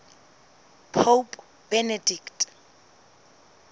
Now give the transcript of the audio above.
pope benedict